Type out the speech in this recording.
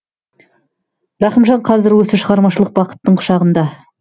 рахымжан қазір осы шығармашылық бақыттың құшағында